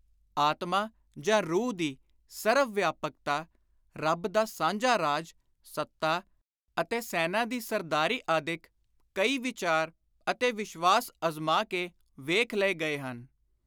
ਆਤਮਾ ਜਾਂ ਰੂਹ ਦੀ ਸਰਵ-ਵਿਆਪਕਤਾ, ਰੱਬ ਦਾ ਸਾਂਝਾ ਰਾਜ, ਸੱਤਾ ਅਤੇ ਸੈਨਾ ਦੀ ਸਰਦਾਰੀ ਆਦਿਕ ਕਈ ਵਿਚਾਰ ਅਤੇ ਵਿਸ਼ਵਾਸ ਅਜ਼ਮਾ ਕੇ ਵੇਖ ਲਏ ਗਏ ਹਨ।